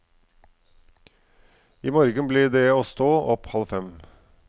I morgen blir det å stå opp halv fem.